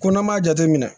Ko n'an m'a jateminɛ